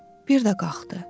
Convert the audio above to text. Bir də qalxdı.